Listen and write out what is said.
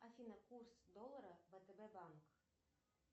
афина курс доллара втб банк